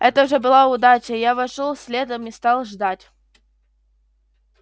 это уже была удача я вошёл следом и стал ждать